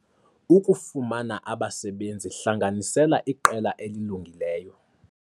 Ukufumana abasebenzi - hlanganisela iqela elilungileyo